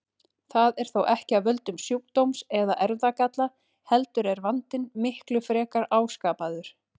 Það er þó ekki af völdum sjúkdóms eða erfðagalla heldur er vandinn miklu frekar áskapaður.